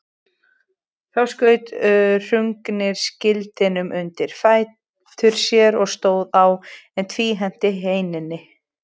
Þá skaut Hrungnir skildinum undir fætur sér og stóð á, en tvíhenti heinina.